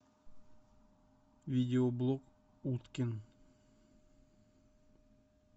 видеоблог уткин